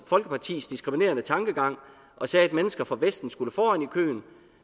folkepartis diskriminerende tankegang og sagde at mennesker fra vesten skulle foran i køen